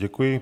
Děkuji.